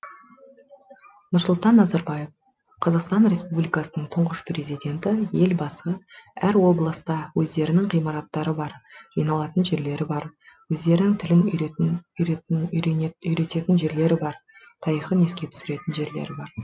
нұрсұлтан назарбаев қр тұңғыш президенті елбасы әр облыста өздерінің ғимараттары бар жиналатын жерлері бар өздерінің тілін үйренетін жерлері бар тарихын еске түсіретін жерлері бар